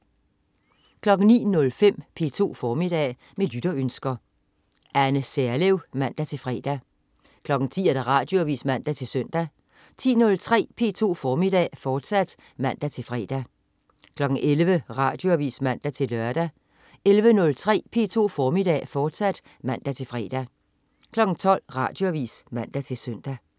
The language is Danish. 09.05 P2 Formiddag. Med lytterønsker. Anne Serlev (man-fre) 10.00 Radioavis (man-søn) 10.03 P2 Formiddag, fortsat (man-fre) 11.00 Radioavis (man-lør) 11.03 P2 Formiddag, fortsat (man-fre) 12.00 Radioavis (man-søn)